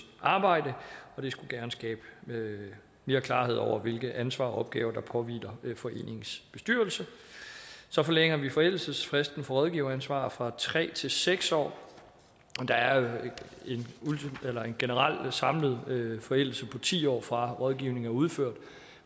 arbejde og det skulle gerne skabe mere klarhed over hvilket ansvar og hvilke opgaver der påhviler foreningens bestyrelse så forlænger vi forældelsesfristen for rådgiveransvar fra tre til seks år der er en generel samlet forældelse på ti år fra rådgivningen er udført